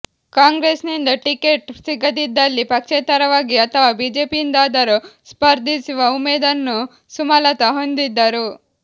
ಕಾಂಗ್ರೆಸ್ನಿಂದ ಟಿಕೆಟ್ ಸಿಗದಿದ್ದಲ್ಲಿ ಪಕ್ಷೇತರವಾಗಿ ಅಥವಾ ಬಿಜೆಪಿಯಿಂದಾದರೂ ಸ್ಪರ್ಧಿಸುವ ಉಮೇದನ್ನು ಸುಮಲತಾ ಹೊಂದಿದ್ದರು